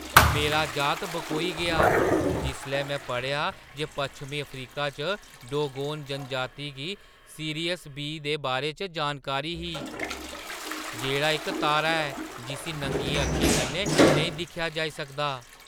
मेरा जात बकोई गेआ जिसलै में पढ़ेआ जे पच्छमीं अफ्रीका च डोगोन जनजाति गी 'सीरियस बी' दे बारे च जानकारी ही, जेह्‌ड़ा इक तारा ऐ, जिस्सी नंगियें अक्खें कन्नै नेईं दिक्खेआ जाई सकदा।